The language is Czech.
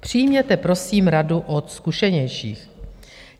Přijměte prosím radu od zkušenějších.